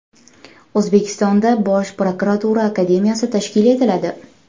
O‘zbekistonda Bosh prokuratura Akademiyasi tashkil etiladi.